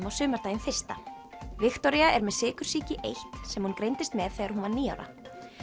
á sumardaginn fyrsta Viktoría er með sykursýki eins sem hún greindist með þegar hún var níu ára